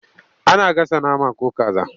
Ana gasa nama ko kaza.